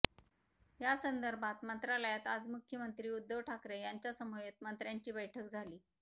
यासंदर्भात मंत्रालयात आज मुख्यमंत्री उद्धव ठाकरे यांच्यासमवेत मंत्र्यांची बैठक झाली